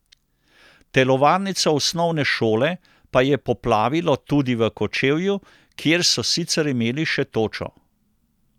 Telovadnico osnovne šole pa je poplavilo tudi v Kočevju, kjer so sicer imeli še točo.